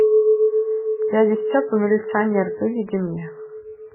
дядя степа милиционер выведи мне